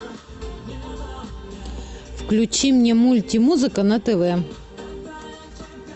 включи мне мульти музыка на тв